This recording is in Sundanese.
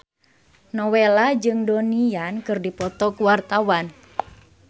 Nowela jeung Donnie Yan keur dipoto ku wartawan